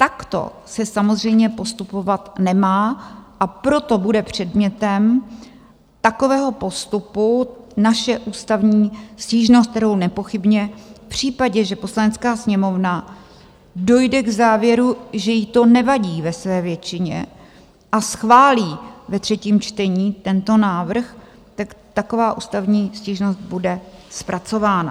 Takto se samozřejmě postupovat nemá, a proto bude předmětem takového postupu naše ústavní stížnost, kterou nepochybně v případě, že Poslanecká sněmovna dojde k závěru, že jí to nevadí ve své většině a schválí ve třetím čtení tento návrh, tak taková ústavní stížnost bude zpracována.